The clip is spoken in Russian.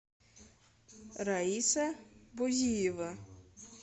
раиса бузиева